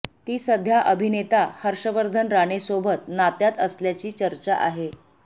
ती सध्या अभिनेता हर्षवर्धन राणे सोबत नात्यात असल्याची चर्चा आहे